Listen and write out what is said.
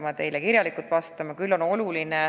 Vastan teile kirjalikult.